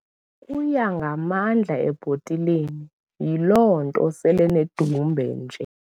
Uya ngamandla ebhotileni yiloo nto selenedumbe nje.